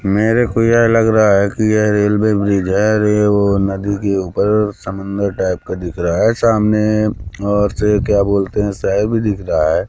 मेरे को यह लग रहा है कि यह रेलवे ब्रिज है अरे ओ नदी के ऊपर समुंदर टाइप का दिख रहा है सामने और से क्या बोलते है शय भी दिख रहा है।